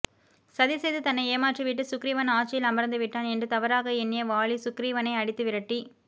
சதிசெய்து தன்னை ஏமாற்றி விட்டு சுக்ரீவன் ஆட்சியில் அமர்ந்து விட்டான் என்று தவறாக எண்ணிய வாலி சுக்ரீவனை அடித்துவிரட்டி